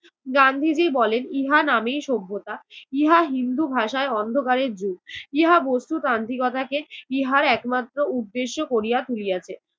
গান্ধীজি বলেন ইহা নামেই সভ্যতা, ইহা হিন্দু ভাষায় অন্ধকারের যুগ। ইহা বস্তু তান্ত্রিকতাকে ইহার একমাত্র উদ্দেশ্য করিয়া তুলিয়াছে।